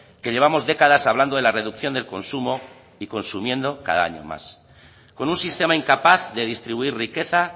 que llevamos décadas hablando de la reducción del consumo y consumiendo cada año más con un sistema incapaz de distribuir riqueza